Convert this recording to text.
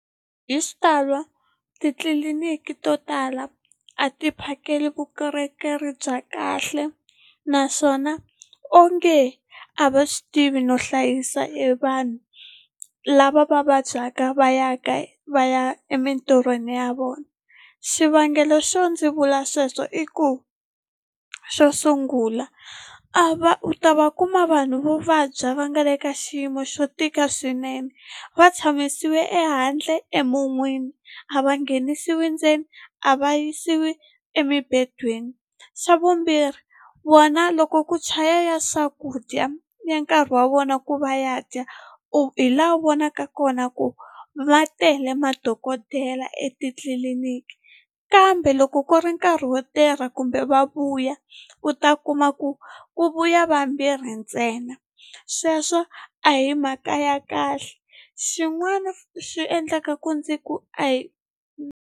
Hi xitalo titliliniki to tala a ti phakeli vukorhokeri bya kahle naswona onge a va swi tivi no hlayisa evanhu lava va vabyaka va ya ka va ya emintirhweni ya vona xivangelo xo ndzi vula sweswo i ku xo sungula a va u ta va kuma vanhu vo vabya va nga le ka xiyimo xo tika swinene va tshamisiwe ehandle emun'wini a va nghenisiwi ndzeni a va yisiwi a emimbedweni xa vumbirhi vona loko ku chaya ya swakudya ya nkarhi wa vona ku va ya dya u hi laha u vonaka kona ku va tele madokodela etitliliniki kambe loko ku ri nkarhi wo tirha kumbe va vuya u ta kuma ku ku vuya vambirhi ntsena sweswo a hi mhaka ya kahle xin'wana xi endlaka ku ndzi ku a hi.